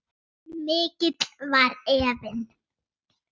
En mikill var efinn.